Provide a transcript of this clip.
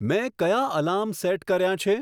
મેં કયા alarm set કર્યાં છે